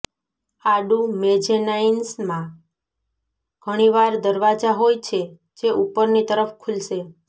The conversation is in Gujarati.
આડું મેઝેનાઇન્સમાં ઘણીવાર દરવાજા હોય છે જે ઉપરની તરફ ખુલશે